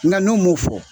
Nka n'u m'o fɔ